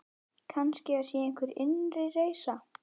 Kannski það sé einhver innri reisa.